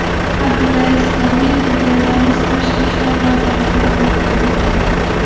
Abdulaziz Komilov Belarus tashqi ishlar vazirini qabul qildi.